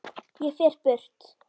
Ég fer burt.